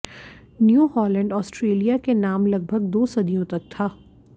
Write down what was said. new Holland Australia के नाम लगभग दो सदियों तक था